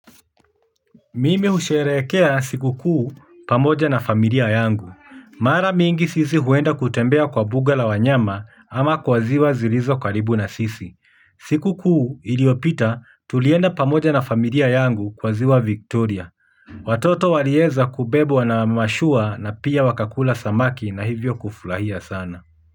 Mimi husheherekea siku kuu pamoja na familia yangu. Mara mingi sisi huenda kutembea kwa mbuga la wanyama ama kwa ziwa zilizo karibu na sisi. Siku kuu iliopita tulienda pamoja na familia yangu kwa ziwa Victoria. Wototo waliweza kubebwa na mashua na pia wakakula samaki na hivyo kufurahia sana.